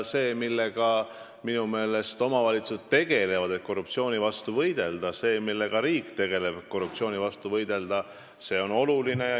See, millega omavalitsused tegelevad, et korruptsiooni vastu võidelda, ja see, millega riik tegeleb, et korruptsiooni vastu võidelda, on minu meelest oluline.